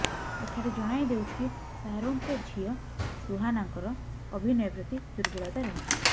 ଏଠାରେ ଜାଣାଇ ଦେଉଛୁ କି ଶାହାରୁଖଙ୍କ ଝିଅ ସୁହାନାଙ୍କର ଅଭିନୟ ପ୍ରତି ଦୁର୍ବଳତା ରହିଛି